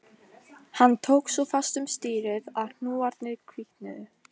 Hann tók svo fast um stýrið að hnúarnir hvítnuðu